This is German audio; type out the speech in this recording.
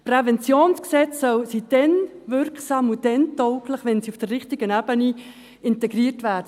Präventionsgesetze sind dann wirksam und tauglich, wenn sie auf der richtigen Ebene integriert werden;